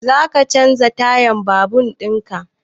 Za ka canza tayan babur in ka?